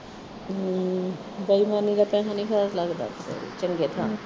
ਬੇਈਮਾਨੀ ਦਾ ਪੈਸਾ ਨਹੀ ਹਿਸਾਬ ਲੱਗਦਾ ਚੰਗੇ ਥ੍ਹਾਂ